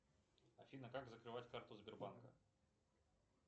афина как закрывать карту сбербанка